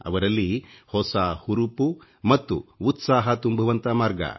ಅವರಲ್ಲಿ ಹೊಸ ಹುರುಪು ಮತ್ತು ಉತ್ಸಾಹ ತುಂಬುವಂಥ ಮಾರ್ಗ